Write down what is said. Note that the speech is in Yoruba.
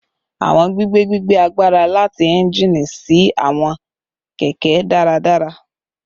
Awọn gbigbe gbigbe agbara lati engine si awọn kẹkẹ daradara